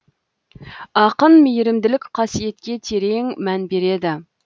ақын мейірімділік қасиетке терең мән береді